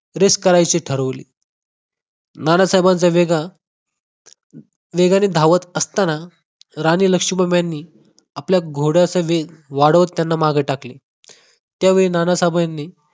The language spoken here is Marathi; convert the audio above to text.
race करायची ठरवले नानासाहेबांच वेग हा वेगाने धावत असताना राणी लक्ष्मीबाई यांनी आपल्या घोड्याचा वेग वाढवत, त्यांना मागे टाकले. त्यावेळी नानासाहेबांनी